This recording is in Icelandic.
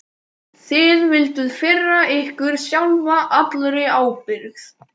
Þið vilduð firra ykkur sjálfa allri ábyrgð.